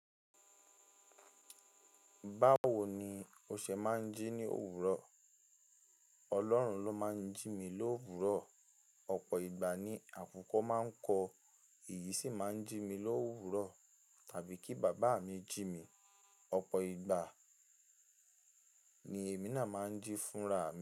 Báwo ni o ṣe máa ń jí ní òwúrọ̀? Ọlọ́run ló máa ń jí mi lówúrọ̀. Ọ̀pọ̀ ìgbà ni àkùkọ máa ń kọ, èyí sì máa ń jí mi lówúrọ̀. Tàbí kí bàbá mi jí mi, ọ̀pọ̀ ìgbà ni èmi náà máa ń jí fúnra mi.